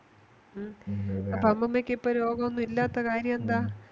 അമ്മാമയ്ക് ഇപ്പോ രോഗോന്നുമില്ലാത്ത കാര്യമെന്താ